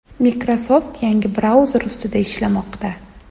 Microsoft yangi brauzer ustida ishlamoqda.